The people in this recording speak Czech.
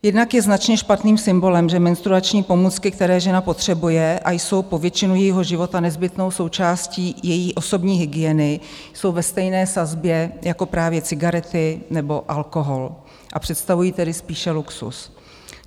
Jednak je značně špatným symbolem, že menstruační pomůcky, které žena potřebuje a jsou po většinu jejího života nezbytnou součástí její osobní hygieny, jsou ve stejné sazbě jako právě cigarety nebo alkohol, a představují tedy spíše luxus.